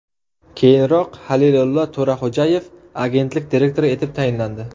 Keyinroq Halilillo To‘raxo‘jayev agentlik direktori etib tayinlandi.